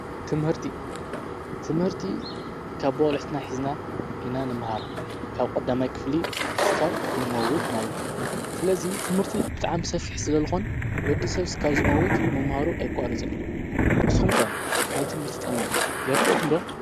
ትምህርቲ ትምህርቲ ካብ ብቆልእትና ኂዝና ኢና ንመሃራ ካብ ቈዳማይ ክፍሊ ስካብ ንመውት ማለት እዩ። ስለዙይ ትምህርቲ ብጣእሚ ምሰፊሕ ስለልኾን ወዲ ሰል ስካው ዝመውት መምሃሩ ኣይቋረጸን እዩ ።ንስምከ ናይ ትምህርቲ ጥቅሚ ይርደአኩምዶ?